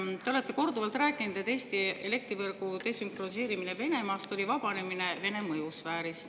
Te olete korduvalt rääkinud, et Eesti elektrivõrgu desünkroniseerimine Venemaast oli vabanemine Vene mõjusfäärist.